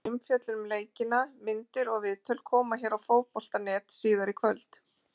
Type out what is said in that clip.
Frekari umfjöllun um leikina, myndir og viðtöl, koma hér á Fótbolta.net síðar í kvöld.